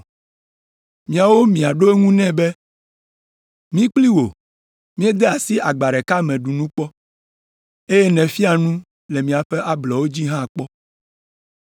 “Miawo miaɖo eŋu nɛ be, ‘Mí kpli wò míede asi agba ɖeka me ɖu nu kpɔ, eye nèfia nu le míaƒe ablɔwo dzi hã kpɔ.’